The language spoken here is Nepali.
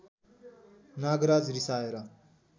नागराज रिसाएर